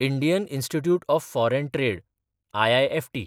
Indian institute of foreign trade (IIFT)